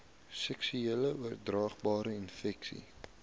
seksueel oordraagbare infeksies